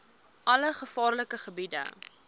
alle gevaarlike gebiede